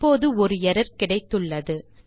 இப்போது ஒரு எர்ரர் கிடைத்துள்ளது